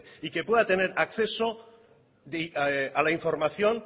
y que pueda tener acceso a la información